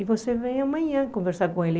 E você vem amanhã conversar com ele.